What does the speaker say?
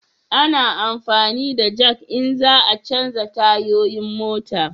A na amfani da jak in za a chanja tayoyin mota